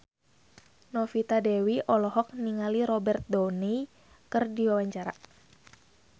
Novita Dewi olohok ningali Robert Downey keur diwawancara